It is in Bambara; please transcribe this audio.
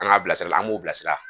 An k'a bilasira an b'u bilasira